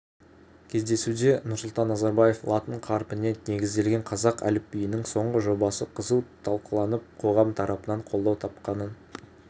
кездесуде нұрсұлтан назарбаев латын қарпіне негізделген қазақ әліпбиінің соңғы жобасы қызу талқыланып қоғам тарапынан қолдау тапқанын